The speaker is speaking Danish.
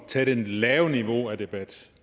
tage det lave niveau af debat